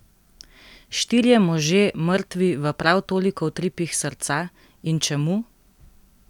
Štirje možje mrtvi v prav toliko utripih srca, in čemu?